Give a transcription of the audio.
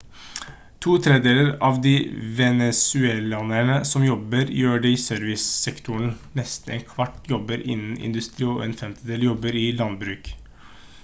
to tredeler av de venezuelanerne som jobber gjør det i servicesektoren nesten en kvart jobber innen industri og en femtedel jobber i landbruk